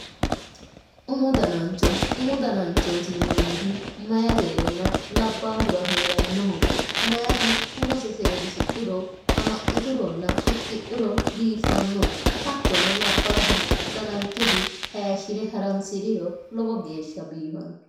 Umu danancho umu dananchooti yineemmohu meyatenna labbahura heerannoho meyati umose seedisidhuro amaxxituronna fixxidhuro biiffanno hattono labbaahu dananchosi hayshshire haransiriro lowo geeshsha biifanno.